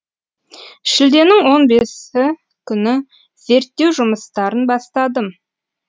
шілденің он бесі күні зерттеу жұмыстарын бастадым